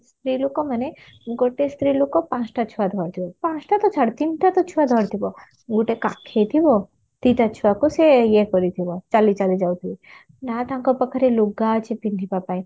ସ୍ତ୍ରୀଲୋକ ମାନେ ଗୋଟେ ସ୍ତ୍ରୀଲୋକ ପାଞ୍ଚଟା ଛୁଆ ଧରିଥିବେ ପାଞ୍ଚଟା ତ ଛାଡ ତିନିଟା ତ ଛୁଆ ଧରିଥିବ ଗୋଟେ କାଖେଇଥିବ ଦିଟା ଛୁଆକୁ ସେ ଇଏ କରିଥିବ ଚାଲି ଚାଲି ଯାଉଥିବେ ନା ତାଙ୍କ ପାଖରେ ଲୁଗା ଅଛି ପିନ୍ଧିବା ପାଇଁ